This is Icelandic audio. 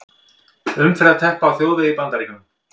Umferðarteppa á þjóðvegi í Bandaríkjunum.